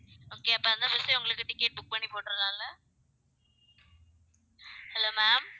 okay அப்ப அந்த bus எ உங்களுக்கு ticket book பண்ணி போட்டுறலாம்ல hello ma'am